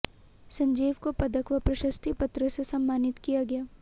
संजीव को पदक व प्रशस्ति पत्र से सम्मानित किया गया